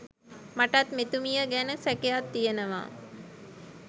මටත් මෙතුමිය ගැන සැකයක් තියනවා.